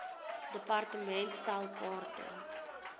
department stel kaarte